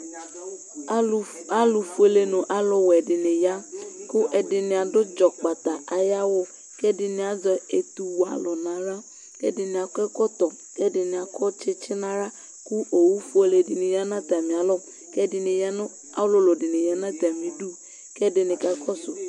alʊ fuele nʊ alʊwɛ dɩnɩ ya, kʊ ɛdɩnɩ adʊ ɔsaha ayʊ awu, kʊ ɛdɩnɩ azɛ etu n'aɣla, kʊ ɛdɩnɩ akɔ ɛkɔtɔ, kʊ ɛdɩnɩ akɔ tsitsi kʊ owufiele dɩ ya nʊ atamialɔ, kʊ ɔlʊlʊ dɩnɩ ya nʊ atamidu, kʊ ɛdɩnɩ kakɔsʊ